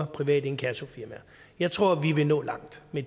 private inkassofirmaer jeg tror vi vil nå langt med